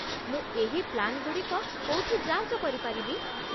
ମୁଁ ଏହି ପ୍ଲାନ୍‌ଗୁଡ଼ିକ କୋଉଠି ଯାଞ୍ଚ କରିପାରିବି?